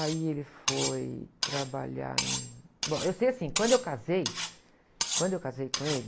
Aí ele foi trabalhar em... Bom, eu sei assim, quando eu casei, quando eu casei com ele...